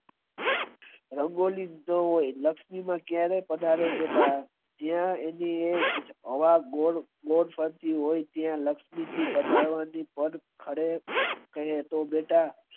રંગોળી હોય લક્ષ્મી ક્યારે પધારે બેટા ત્યાં તેની હવા ગોળ ગોળ ફરીથી હોય ત્યાં લક્ષ્મી જી પધારે અરે તે તો બેટા